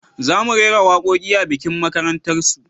Za mu rera waƙoƙi a bikin makarantar su